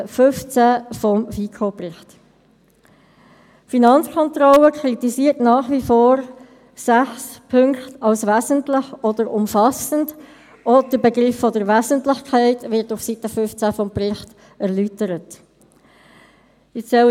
In der von der Finanzkontrolle beanstandeten Bewertung von Land und Strassen werden der Regierungsrat und die Finanzkontrolle aufgefordert, sich zu einigen und die Lösung rechtlich korrekt umzusetzen.